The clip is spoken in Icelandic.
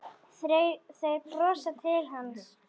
Þeir brosa til hans.